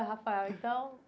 Rafael, então.